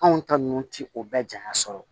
Anw ta ninnu ti o bɛɛ janya sɔrɔ